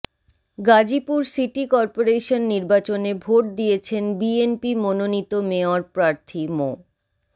Gazipur city corporation নির্বাচনে vote দিয়েছেন বিএনপি মোননীত মেয়র প্রার্থী মো